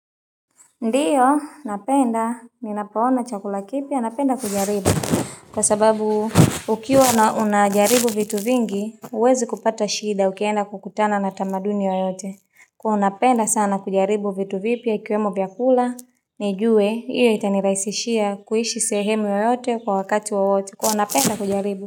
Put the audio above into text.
Ndiyo, napenda, ninapoona chakula kipya, napenda kujaribu, kwa sababu ukiwa na unajaribu vitu vingi, huwezi kupata shida, ukienda kukutana na tamaduni yoyote, kwa hiyo napenda sana kujaribu vitu vipya, ikiwemo vyakula, nijue, ili itaniraisishia kuishi sehemu yoyote kwa wakati wowote, kwa hiyo napenda kujaribu.